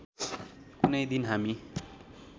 कुनै दिन हामी